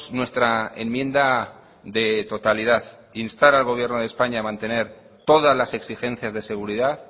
nuestra enmienda de totalidad instar al gobierno de españa a mantener todas las exigencias de seguridad